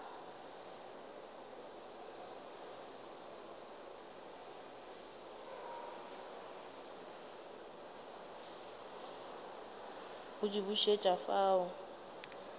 go di bušet afa o